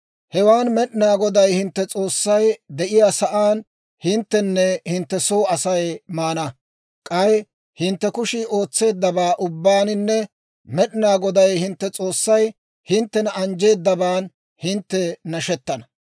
Hewaan Med'inaa Goday hintte S'oossay de'iyaa saan hinttenne hintte soo Asay maana; k'ay hintte kushii ootseeddaban ubbaaninne Med'inaa Goday hintte S'oossay hinttena anjjeedaban hintte nashettana.